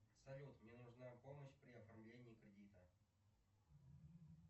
салют мне нужна помощь при оформлении кредита